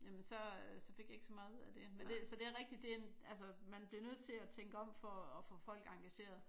Jamen så øh så fik jeg ikke så meget ud af det men det så det er rigtigt man bliver nødt til at tænke om for at få folk engageret